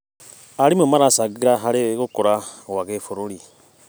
Arimũ maracangĩra harĩ gũkũra gwa gĩbũrũri.